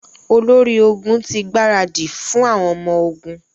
Olórí ogun ti gbaradì fún àwọn ọmọ ogun.